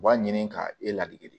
U b'a ɲini ka e ladege de